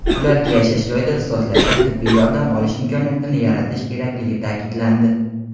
ularga yashash joyida ixtisoslashgan tibbiy yordam olish imkoniyatini yaratish kerakligi ta’kidlandi.